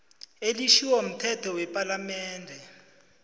elitjhiwo mthetho wepalamende